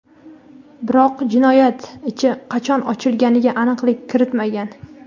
Biroq jinoyat ichi qachon ochilganiga aniqlik kiritmagan.